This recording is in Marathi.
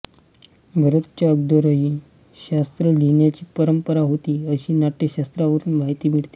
भरतच्या अगोदरही शास्त्र लिहिण्याची परंपरा होती अशी नाट्यशास्त्रावरून माहिती मिळते